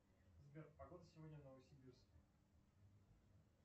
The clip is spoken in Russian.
сбер погода сегодня в новосибирске